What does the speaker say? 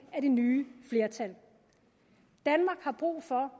nye flertal danmark har brug for